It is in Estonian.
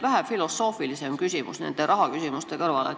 Vähe filosoofilisem küsimus nende rahaküsimuste kõrvale.